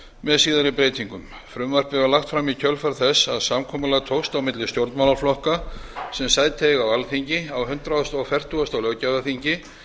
með síðari breytingum frumvarpið var lagt fram í kjölfar þess að samkomulag tókst á milli stjórnmálaflokka sem sæti eiga á alþingi á hundrað fertugasta löggjafarþingi